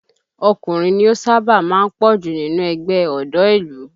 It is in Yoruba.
Ọkùnrin ni ó sábà máa ń pọ̀ jù nínú ẹgbẹ́ ọ̀dọ́ ìlú